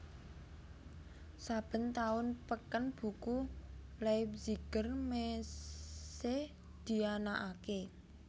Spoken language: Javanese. Saben taun peken buku Leipziger Messe dianakaké